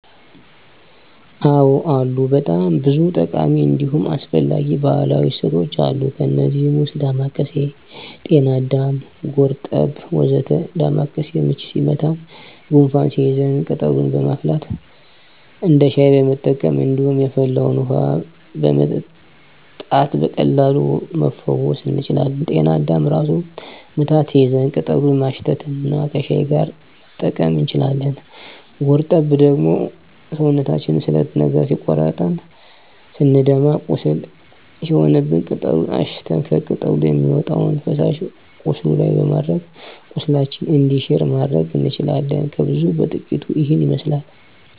አዎ አሉ በጣም ብዙ ጠቃሚ እንዲሁም አስፈላጊ ባህላዊ እፅዋቶች አሉ። ከእነዚህም ውስጥ ዳማካሴ፣ ጤናአዳም፣ ጎርጠብ ወ.ዘ.ተ ዳማካሴ ምች ሲመታን ጉንፋን ሲይዘን ቅጠሉን በማፍላት እንደ ሻይ መጠቀም እንዲሁም የፈላውን ውሀ በመታጠን በቀላሉ መፈወስ እንችላለን። ጤና አዳምም ራስ ምታት ሲይዘን ቅጠሉን ማሽት እና ከሻይ ጋር መጠቀም እንችላለን። ጎርጠብ ደግሞ ሰውነታችንን ስለት ነገር ሲቆርጠን ስንደማ ቁስል ሲሆንብን ቅጠሉን አሽተን ከቅጠሉ የሚወጣውን ፈሳሽ ቁስሉ ላይ በማድረግ ቁስላችን እንዲሽር ማድረግ እንችላለን። ከብዙ በጥቂቱ ይሄንን ይመስላል።